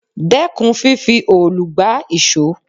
Dẹ́kun fífi òòlù gbá ìṣọ́!